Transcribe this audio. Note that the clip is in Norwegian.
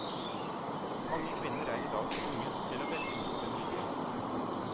Mange kvinner er i dag tvunget til å velge mot sin vilje.